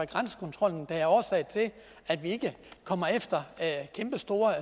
grænsekontrollen der er årsag til at vi ikke kommer efter kæmpestore